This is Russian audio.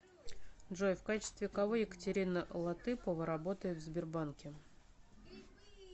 джой в качестве кого екатерина латыпова работает в сбербанке